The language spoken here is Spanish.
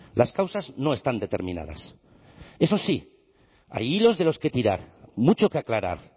las causas no están determinadas eso sí hay hilos de los que tirar mucho que aclarar